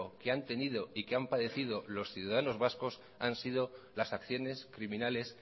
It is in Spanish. que han tenido y que han padecido los ciudadanos vascos han sido las acciones criminales